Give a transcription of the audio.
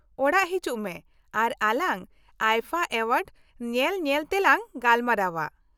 ᱚᱲᱟᱜ ᱦᱤᱡᱩᱜ ᱢᱮ, ᱟᱨ ᱟᱞᱟᱝ ᱟᱭᱯᱷᱟ ᱮᱣᱟᱨᱰ ᱧᱮᱞ ᱧᱮᱞ ᱛᱮ ᱞᱟᱝ ᱜᱟᱞᱢᱟᱨᱟᱣᱟ᱾